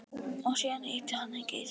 Og síðan hitti hann Geirþrúði.